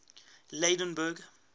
lydenburg